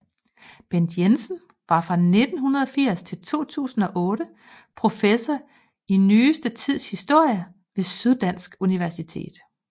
Bent Jensen var fra 1980 til 2008 professor i nyeste tids historie ved Syddansk Universitet